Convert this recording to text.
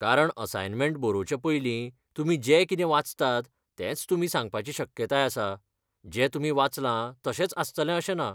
कारण असायनमेंट बरोवचे पयली तुमी जे कितें वाचतात, तेंच तुमी सांगपाची शक्यताय आसा, जें तुमी वाचलां तशेंच आसतलें अशें ना.